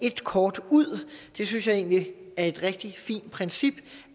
et kort ud det synes jeg egentlig er et rigtig fint princip